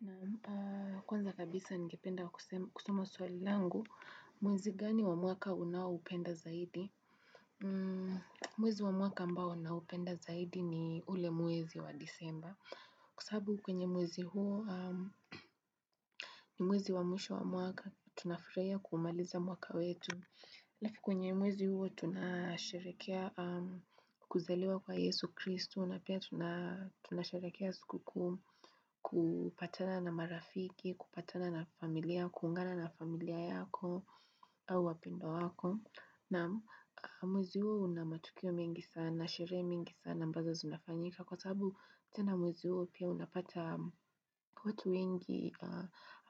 Na kwanza kabisa ningependa kusuma sualilangu, muwezi gani wa muaka unawa upenda zaidi? Mwezi wa mwaka ambao na upenda zaidi ni ule mwezi wa disemba. Kusabu kwenye mwezi huo ni mwezi wa mwisho wa mwaka tunafirea kumaliza muaka wetu. Laki kwenye muwezi huo tunashirekea kuzaliwa kwa Yesu Kristu na pia tunasherehekea sikukuu kupatana na marafiki, kupatana na familia, kuungana na familia yako au wapendwa wako na muzio unamatukio mingi sana na shire mingi sana mbazo zunafanyika kwa sabu tena muzio pia unapata kutu wengi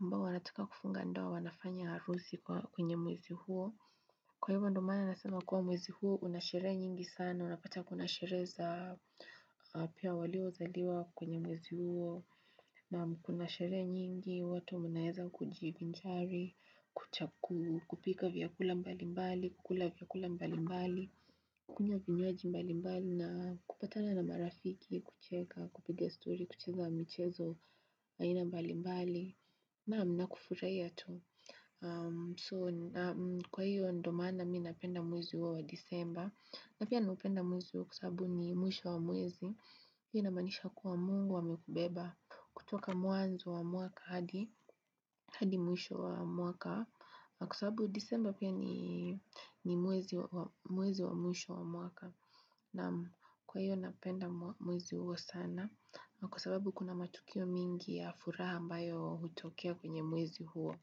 ambao wanataka kufunga ndoa wanafanya harusi kwenye mwezi huo kwa hivyo ndio maana nasema kwa mwezi huo unasherehe nyingi sana unapata kuna sherehe za pia walio zaliwa kwenye mwezi huo na mko na sherehe nyingi, watu mnaeza kujivinjari, kupika vyakula mbali mbali, kukula vyakula mbali mbali, kukunywa vinywaaji mbali mbali na kupatana na marafiki, kucheka, kupiga story, kucheza mchezo, aina mbali mbali. Na mna kufurea tu. So, kwa hiyo ndomana, mi napenda muwezi uwa wa disemba. Na pia napenda muwezi uwa kusabu ni muwezi wa muwezi. Iyo namanisha kuwa mungu wamekubeba kutoka muanzo wa muaka hadi muisho wa muaka. Kusababu disemba pia ni muwezi wa muisho wa muaka. Kwa hiyo napenda muwezi huo sana. Kusababu kuna matukio mingi ya furaha mbayo hutokea kwenye muwezi huo.